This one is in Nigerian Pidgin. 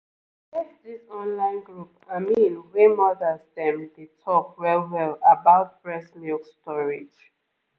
e get this online group i mean wey mothers dem dey talk well-well about breast milk storage